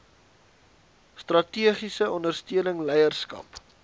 strategiese ondersteuning leierskap